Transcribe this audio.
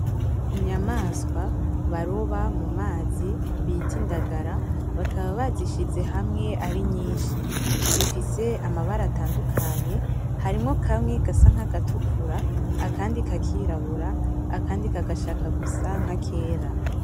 Inyamaswa baroba mumazi bita indagara bakaba bazishize hamwe arinyinshi ,zifise amabara atandukanye harimwo kamwe gasa nkagatukura, akandi kakirabura, akandi kagashaka gusa nkakera .